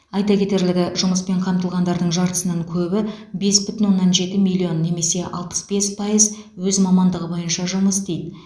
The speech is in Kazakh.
айта кетерлігі жұмыспен қамтылғандардың жартысынан көбі бес бүтін оннан жеті миллион немесе алпыс бес пайыз өз мамандығы бойынша жұмыс істейді